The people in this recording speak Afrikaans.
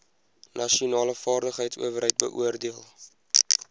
nasionale vaardigheidsowerheid beoordeel